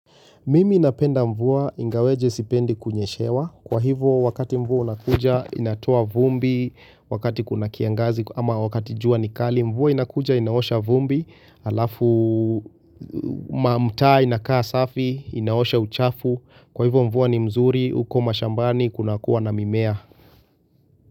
Mimi napenda mvua ingawaje sipendi kunyeshewa, kwa hivo wakati mvua unakuja inatoa vumbi, wakati kuna kiangazi ama wakati jua ni kali, mvua inakuja inaosha vumbi, alafu mamtaa inakaa safi, inaosha uchafu, kwa hivo mvua ni mzuri, huko mashambani, kuna kuwa na mimea.